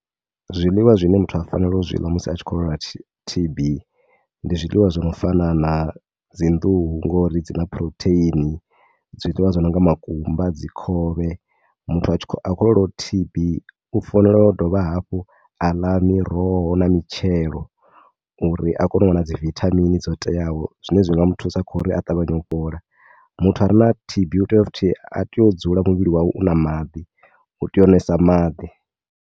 Zwiḽiwa zwine muthu a fanelo u zwi ḽa musi a tshi khou lwala T_B ndi zwiḽiwa zwi no fana na dzi nḓuhu ngori dzi na phurotheini. Zwiḽiwa zwo no nga makumba, dzi khovhe. Muthu a tshi, a khou lwalaho T_B u fanelo dovha hafhu a ḽa miroho na mitshelo uri a kone u wana dzi vithamini dzo teaho. Zwine zwa nga mu thusa kha uri a ṱavhanye u fhola. Muthu are na T_B u tea futhi, ha tei u dzula muvhili wawe u na maḓi, u tea u ṅwesa maḓi.